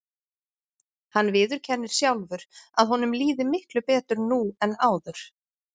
Hann viðurkennir sjálfur að honum líði miklu betur nú en áður.